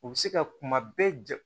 U bɛ se ka kuma bɛɛ ja